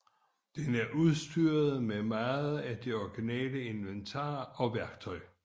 Den er udstyret med meget af det originale inventar og værktøj